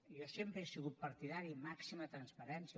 jo sempre he sigut partidari de màxima transparència